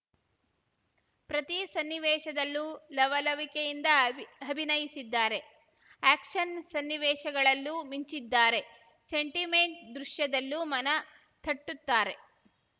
ಪ್ರತಿ ಸನ್ನಿವೇಶದಲ್ಲೂ ಲವಲವಿಕೆಯಿಂದ ಅಭಿನಯಿಸಿದ್ದಾರೆ ಆಯಕ್ಷನ್‌ ಸನ್ನಿವೇಶಗಳಲ್ಲೂ ಮಿಂಚಿದ್ದಾರೆ ಸೆಂಟಿಮೆಂಟ್‌ ದೃಶ್ಯದಲ್ಲೂ ಮನ ತಟ್ಟುತ್ತಾರೆ